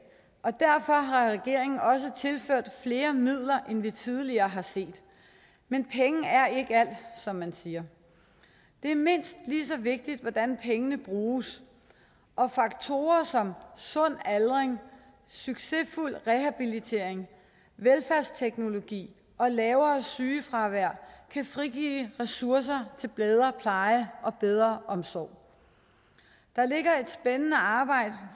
og derfor har regeringen også tilført flere midler end vi tidligere har set men penge er ikke alt som man siger det er mindst lige så vigtigt hvordan pengene bruges og faktorer som sund aldring succesfuld rehabilitering velfærdsteknologi og lavere sygefravær kan frigive ressourcer til bedre pleje og bedre omsorg der ligger et spændende arbejde